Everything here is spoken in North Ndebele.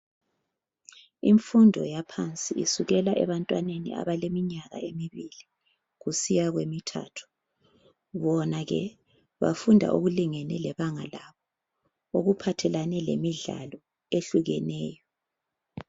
Imfundo yaphansi isukela ebantwaneni abaleminyaka emibili kusiya kwemithathu , bona ke bafunda okulingene lebanga labo okuphathelane lemidlalo ehlukeneyo